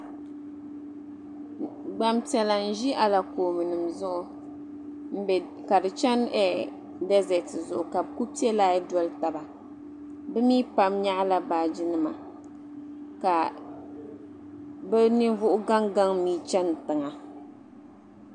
Gbaŋ piɛla n-ʒi alakoobenima zuɣu ka di chani "desert zuɣu ka di kuli pe line n-doli taba be mii pam nyaɣila baajinima ka be ninvuhi gaŋ gaŋ mii chani tiŋa.